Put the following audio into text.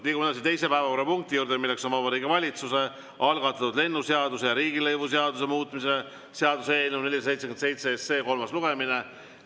Liigume edasi teise päevakorrapunkti juurde, milleks on Vabariigi Valitsuse algatatud lennundusseaduse ja riigilõivuseaduse muutmise seaduse eelnõu 477 kolmas lugemine.